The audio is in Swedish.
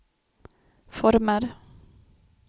former